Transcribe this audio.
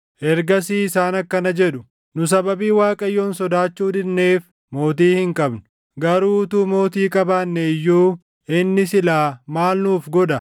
Ergasii isaan akkana jedhu; “Nu sababii Waaqayyoon sodaachuu didneef mootii hin qabnu. Garuu utuu mootii qabaanne iyyuu inni silaa maal nuuf godha?”